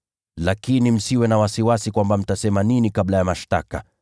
Lakini kusudieni mioyoni mwenu msisumbuke awali kuhusu mtakalosema mbele ya mashtaka.